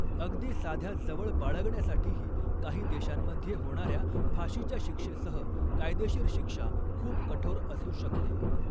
अगदी साध्या जवळ बाळगण्यासाठीही, काही देशांमध्ये होणाऱ्या फाशीच्या शिक्षेसह कायदेशीर शिक्षा खूप कठोर असू शकते.